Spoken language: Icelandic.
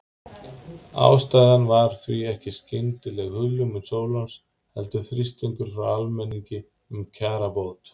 Ástæðan var því ekki skyndileg hugljómun Sólons heldur þrýstingur frá almenningi um kjarabót.